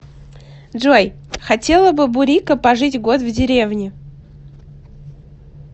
джой хотела бы бурико пожить год в деревне